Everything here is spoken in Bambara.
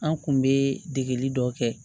An kun be degeli dɔ kɛ